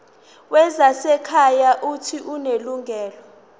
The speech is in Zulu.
wezasekhaya uuthi unelungelo